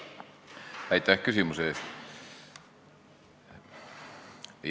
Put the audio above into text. Aitäh küsimuse eest!